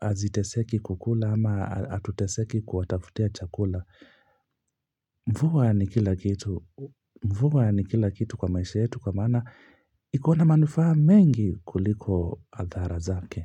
haziteseki kukula ama hatuteseki kuwatafutia chakula. Mvua ni kila kitu kwa maisha yetu kwa maana iko na manufaa mengi kuliko adhara zake.